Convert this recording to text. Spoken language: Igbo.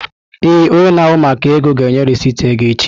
Ee, onye na-ahụ maka ego ga-enye rịsịtị ego echi.